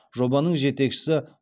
жобаның жетекшісі